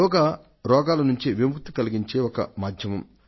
యోగా రోగాల నుండి విముక్తిని కలిగించే ఒక మాధ్యమం